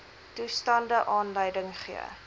toestande aanleiding gee